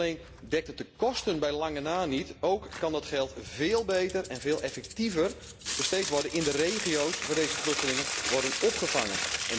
Niet alleen dekt het de kosten bij lange na niet, ook kan het geld veel beter en veel effectiever besteed worden in de regio's waar deze vluchtelingen worden opgevangen.